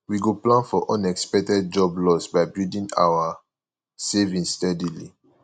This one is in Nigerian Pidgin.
we go plan for unexpected job loss by building our savings steadily